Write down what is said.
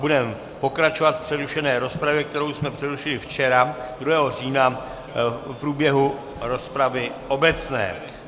Budeme pokračovat v přerušené rozpravě, kterou jsme přerušili včera 2. října v průběhu rozpravy obecné.